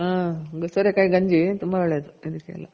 ಹ್ಮ್ ಸೋರೆ ಕಾಯಿ ಗಂಜಿ ತುಂಬ ಒಳ್ಳೇದು ದೇಹಕ್ಕೆಲ್ಲ